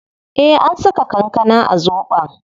Eh an saka kankana a zobon